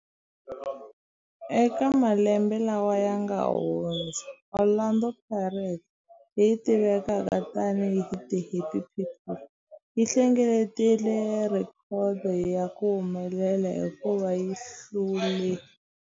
Eka malembe lawa yanga hundza, Orlando Pirates, leyi tivekaka tani hi 'The Happy People', yi hlengeletile rhekhodo ya ku humelela hikuva yi hlule.